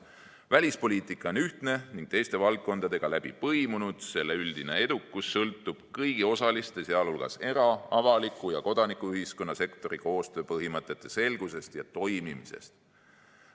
Välispoliitika on ühtne ning teiste valdkondadega läbi põimunud, selle üldine edukus sõltub kõigi osaliste, sh era‑, avaliku ja kodanikuühiskonna sektori koostööpõhimõtete selgusest ja toimimisest.